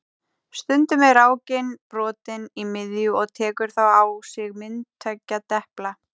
Stundum er rákin brotin í miðju og tekur þá á sig mynd tveggja depla.